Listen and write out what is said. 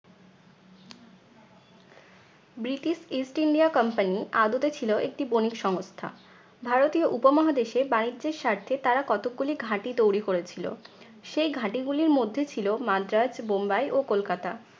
British east india company আদতে ছিলো একটি বণিক সংস্থা। ভারতীয় উপমহাদেশে বাণিজ্যের স্বার্থে তারা কতক গুলি ঘাঁটি তৈরি করেছিলো। সেই ঘাঁটি গুলির মধ্যে ছিল মাদ্রাজ, বোম্বাই ও কলকাতা